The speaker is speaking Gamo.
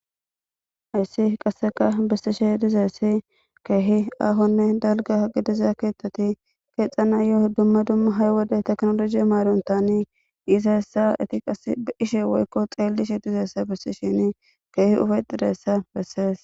Hayssi qasseka bessishe dizayssi keehi aahonne dalgga gidiza keeththati keexanayoo dumma dumma hay wodey teknolooje maarontani iiza hessa iti qa ishe woykko xeellishe dizayssa bessishe keehi ufeyttidayssa bessees.